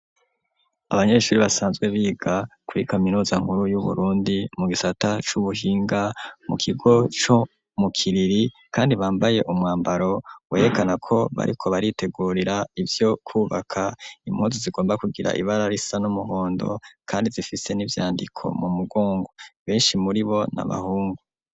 Abanyeshuri basanzwe biga kuri kaminuza nkuru yu Burundi mu gisata c'ubuhinga mu kigo co mu kiriri kandi bambaye umwambaro werekana ko bariko baritegurira ivyo kubaka impuzu zigomba kugira ibara risa n'umuhondo kandi zifise n'ivyandiko mu mugongo beshi muribo n'abahungu.